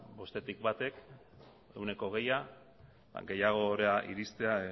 bostetik batek ehuneko hogeia gehiagora iristea